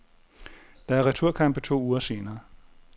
Der er returkampe to uger senere.